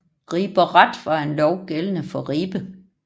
Riber Ret var en lov gældende for Ribe